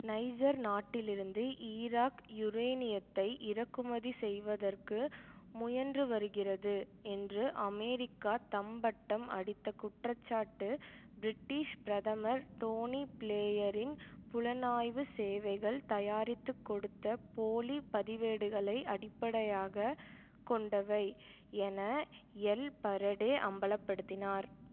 Niger நாட்டிலிருந்து Iraq யூரேனியத்தை இறக்குமதி செய்வதற்கு முயன்றுவருகிறது என்று அமெரிக்கா தம்பட்டம் அடித்த குற்றச்சாட்டு பிரிட்டிஷ் பிரதமர் டோனி பிளேயரின் புலனாய்வு சேவைகள் தயாரித்து கொடுத்த போலி பதிவேடுகளை அடிப்படையாக கொண்டவை என எல் பரடே அம்பல படுத்தினார்